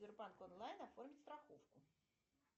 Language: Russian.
сбербанк онлайн оформить страховку